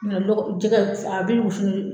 lɔgɔ jɛgɛ a bi funu